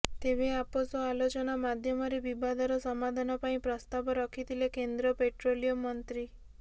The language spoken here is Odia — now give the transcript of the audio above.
ତେବେ ଆପୋଷ ଆଲୋଚନା ମାଧ୍ୟମରେ ବିବାଦର ସମାଧାନ ପାଇଁ ପ୍ରସ୍ତାବ ରଖିଥିଲେ କେନ୍ଦ୍ର ପେଟ୍ରୋଲିୟମ ମନ୍ତ୍ରୀ